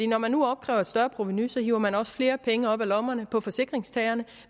når man nu opkræver et større provenu så hiver man også flere penge op af lommerne på forsikringstagerne